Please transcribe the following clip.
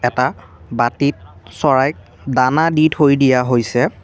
এটা বাটিত চৰাইক দানা দি থৈ দিয়া হৈছে।